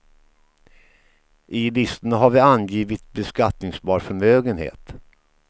I listorna har vi angivit beskattningsbar förmögenhet.